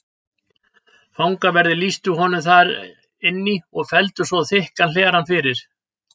Fangaverðir lýstu honum þar inn í og felldu svo þykkan hlera fyrir.